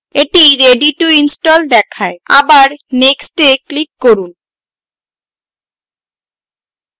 এটি ready to install দেখায় আবার next এ click করুন